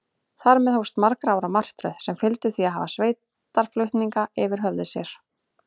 Þar með hófst margra ára martröð, sem fyldi því að hafa sveitarflutninga yfir höfði sér.